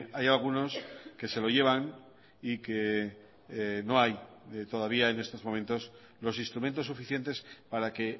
hay algunos que se lo llevan y que no hay todavía en estos momentos los instrumentos suficientes para que